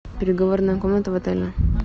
переговорная комната в отеле